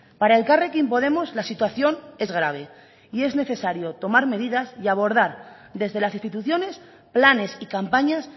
para elkarrekin podemos la situación es grave y en necesario tomar medidas y abordar desde las instituciones planes y campañas